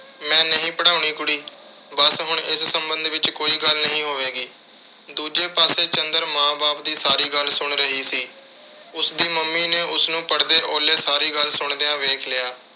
ਮੈਂ ਨਹੀਂ ਪੜ੍ਹਾਉਣੀ ਕੁੜੀ। ਬੱਸ ਹੁਣ ਇਸ ਸਬੰਧ ਵਿੱਚ ਕੋਈ ਗੱਲ ਨਹੀਂ ਹੋਵੇਗੀ। ਦੂਜੇ ਪਾਸੇ ਚੰਦਰ ਮਾਂ-ਬਾਪ ਦੀ ਸਾਰੀ ਗੱਲ ਸੁਣ ਰਹੀ ਸੀ। ਉਸਦੀ mummy ਨੇ ਉਸਨੂੰ ਪੜਦੇ ਓਹਲੇ ਸਾਰੀ ਗੱਲ ਸੁਣਦਿਆਂ ਵੇਖ ਲਿਆ।